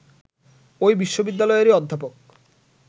ঐ বিশ্ববিদ্যালয়েরই অধ্যাপক